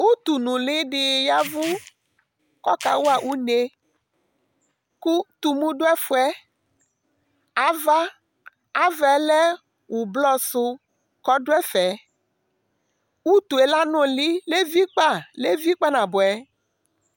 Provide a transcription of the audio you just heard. utu nʊli dɩ y'ɛvʊ kʊ ɔkawa une, kʊ tumu dʊ ɛfʊ yɛ, ava yɛ lɛ avavlitsɛ, kʊ ɔdʊ ɛfɛ utu yɛ anʊlɩ , eviava kpanabʊɛ,